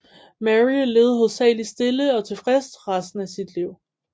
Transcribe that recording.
Mary levede hovedsageligt stille og tilfreds resten af sit liv